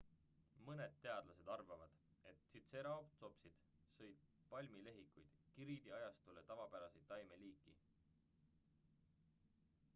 mõned teadlased arvavad et tritseeratopsid sõid palmlehikuid kriidiajastule tavapärast taimeliiki